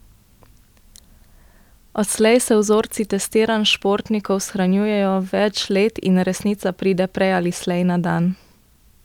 Odslej se vzorci testiranj športnikov shranjujejo več let in resnica pride prej ali slej na dan.